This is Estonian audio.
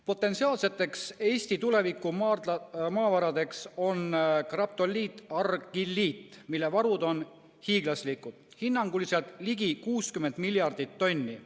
Potentsiaalseteks Eesti tuleviku maavaradeks on graptoliitargilliit, mille varud on hiiglaslikud, hinnanguliselt ligi 60 miljardit tonni.